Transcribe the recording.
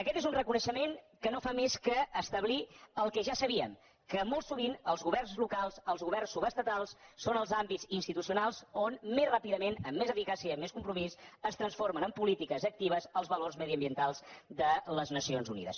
aquest és un reconeixement que no fa més que establir el que ja sabíem que molt sovint els governs locals els governs subestatals són els àmbits institucionals on més ràpidament amb més eficàcia i amb més compromís es transformen en polítiques actives els valors mediambientals de les nacions unides